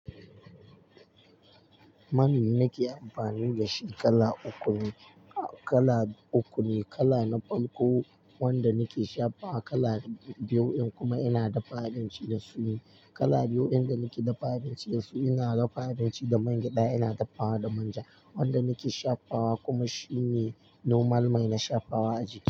Man da nake amfani da shi kala uku ne, kala uku ne, kala na farko wanda nake shafawa kala biyu kuma ina dafa abinci da su ne. Kala biyu in da nake da fahimci da su ina dafa abinci da man gyada ina dafa wa da manja wanda nake shafawa kuma shine normal mai na shafawa a jiki.